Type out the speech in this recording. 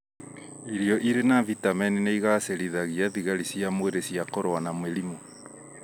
Irio irĩ na vitemeni nĩigacĩrithagia thigari cia mwĩrĩ cia kũrũa na mĩrimũ